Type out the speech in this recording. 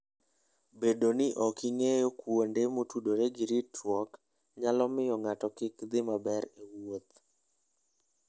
Bedo ni ok ing'eyo kuonde motudore gi ritruok, nyalo miyo ng'ato kik dhi maber e wuoth.